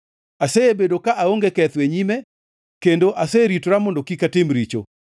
Asebedo ka aonge ketho e nyime kendo aseritora mondo kik atim richo.